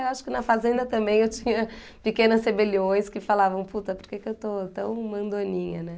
Eu acho que na fazenda também eu tinha pequenas rebeliões que falavam, puta, por que eu estou tão mandoninha, né?